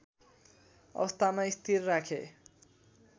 अवस्थामा स्थिर राखे